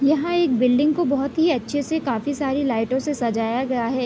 यहाँ एक बिल्डिंग को बोहत ही अच्छे से काफी सारी लाइटो से सजाया गया है।